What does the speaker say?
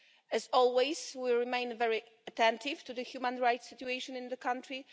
As always, we remain very attentive to the human rights situation in that country.